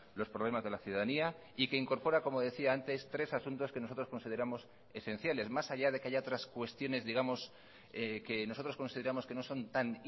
los problemas de la ciudadanía y que incorpora como decía antes tres asuntos que nosotros consideramos esenciales más allá de que haya otras cuestiones digamos que nosotros consideramos que no son tan